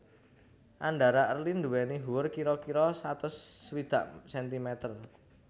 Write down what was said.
Andhara Early nduwéni huwur kira kira satus swidak sentimeter